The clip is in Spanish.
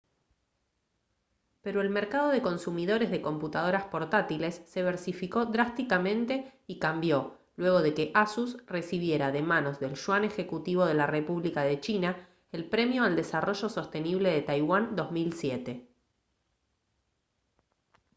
pero el mercado de consumidores de computadoras portátiles se versificó drásticamente y cambió luego de que asus recibiera de manos del yuan ejecutivo de la república de china el premio al desarrollo sostenible de taiwán 2007